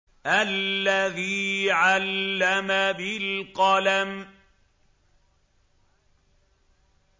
الَّذِي عَلَّمَ بِالْقَلَمِ